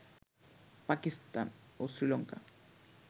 পাকিস্তান ও শ্রীলঙ্কা